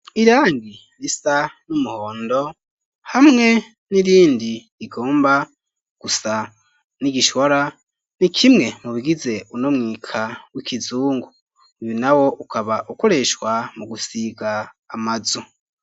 Irangi risa n'umuhondo hamwe n'irindi rigomba gusa n'igishwara ni kimwe mu bigize uno mwika w'ikizungu, uyu nawo ukaba ukoreshwa mu gusiga amazu.